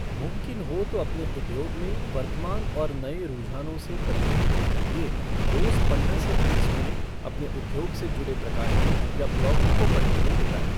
मुमकिन हो तो अपने उद्योग में वर्तमान और नए रुझानों से परिचित होने के लिए रोज़ पंद्रह से तीस मिनट अपने उद्योग से जुड़े प्रकाशनों या ब्लॉगों को पढने में बिताएँ।